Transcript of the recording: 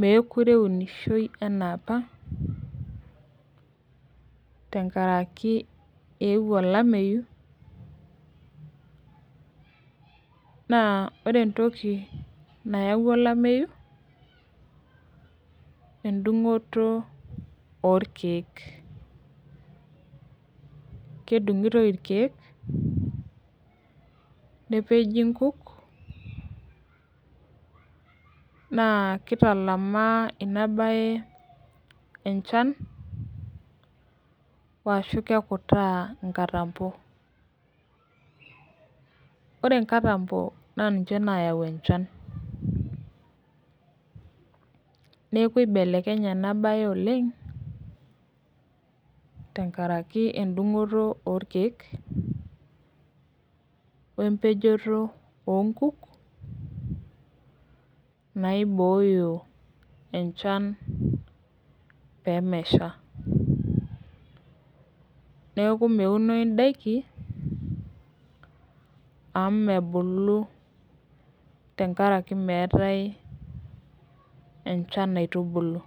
mekure eunishoi anaapa tenkaraki euo olameyu ma ore entoki nayawua olameyu na endungoto irkiek kedingitoi irkiek nepeji nkuk na kitalamaa inabae enchan ashu kekutaa nkatambo ore nkatambo na ninche nayau enchan neaku ibelekenye enabae oleng tenkaraki endungoto orkike wempejoto onkuk naibooyo enchan pemesha neaku meunoi ndakini amu mebulu tenkaraki meetae enchan naitubulu.